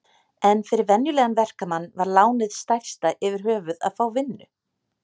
En fyrir venjulegan verkamann var lánið stærsta yfirhöfuð að fá vinnu.